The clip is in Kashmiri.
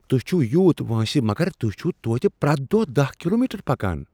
تو٘ہۍ چھِو یوٗت وٲنسہ مگر تو٘ہۍ چھوتوتہِ پرٛیتھ دۄہ دہَ کلومیٹر پکان؟